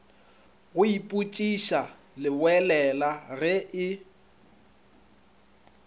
go ipotšiša leboelela ge e